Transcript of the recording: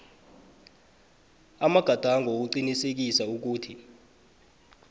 amagadango wokuqinisekisa ukuthi